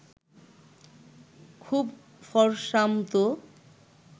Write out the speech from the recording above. খুব ফরসামতো